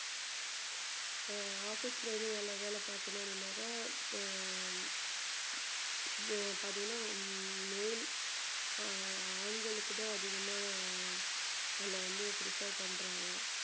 அஹ் office ல வந்து வேலை வேலை பாக்கணும் அப்படின்னாக்க பார்த்தீங்கன்னா male ஆண்களுக்கு தான் அதிகமா அதுல வந்து prefer பண்றாங்க